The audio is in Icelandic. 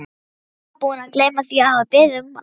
lega búinn að gleyma því að hafa beðið um hana.